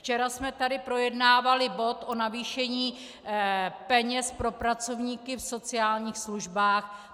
Včera jsme tady projednávali bod o navýšení peněz pro pracovníky v sociálních službách.